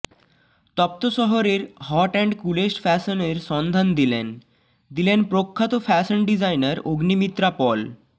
তপ্ত শহরের hot and coolest ফ্যাশনের সন্ধান দিলেন দিলেন প্রখ্যাত ফ্যাশন ডিজাইনার অগ্নিমিত্রা পল